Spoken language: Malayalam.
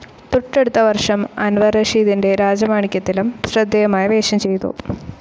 തെട്ടടുത്ത വർഷം അൻവർ റഷീദിൻ്റെ രാജമാണിക്യത്തിലും ശ്രദ്ധേയമായ വേഷം ചെയിതു.